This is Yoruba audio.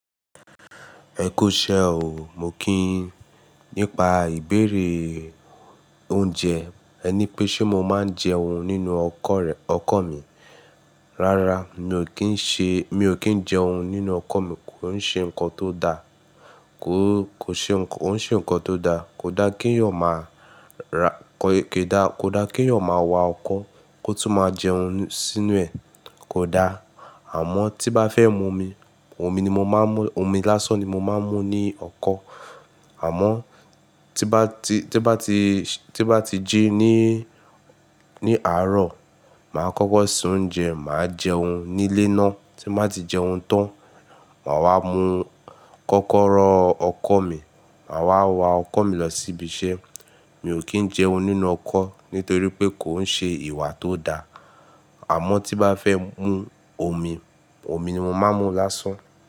Ẹkú iṣẹ́ o. Mo kí yín, nípa ìbéèrè oúnjẹ. Ẹ ní pé ṣe mo máa ń jẹun nínú ọkọ̀ rẹ, ọkọ̀ mi. Rárá mi ò kí ń ṣe, mi ò kí ń jẹun nínú ọkọ̀ mi, kò ń ṣe nǹkan tó dáa. Kò, kò ṣe ńkan, kò ń ṣe ǹkan tó dá. Kò dá kí èèyàn máa ra, kò dá, kò dá kí èèyàn máa wa ọkọ́ kó tún máa jẹun sínú ẹ̀. Kò dá. Àmọ́ tí bá fẹ́ mu omi, omi ni mo máa ń mú, omi lásán ni mo máa ń mú ní ọkọ̀. Àmọ́ tí bá ti, tí bá ti, tí bá ti jí ní, ní àárọ̀, màá kọ́kọ́ sè oúnjẹ, màá jẹun nílé ná. Tí màá ti jẹun tán, màá wá mu kọ́kọ́rọ́ ọkọ̀ mi. Màá wá wá ọkọ̀ mi lọ síbi iṣẹ́. Mi ò kí ń jẹun nínú ọkọ̀ nítorí pé kò ń ṣe ìwà tó dá. Àmọ́ tí bá fẹ́ mu omi, omi ni mo máa ń mú lásán.